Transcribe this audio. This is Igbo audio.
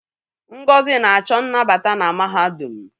Ngozi na-achọ nnabata na mahadum.